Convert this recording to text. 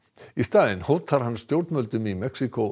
í staðinn hótar hann stjórnvöldum í Mexíkó